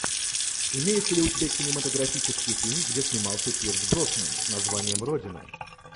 имеется ли у тебя кинематографический фильм где снимался пирс броснан с названием родина